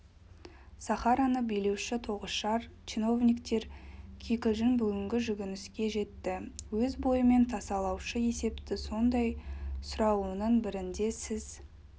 сахараны билеуші тоғышар чиновниктер кикілжің бүгінгі жүгініске жетті өз бойымен тасалаушы есепті сондай сұрауының бірінде сіз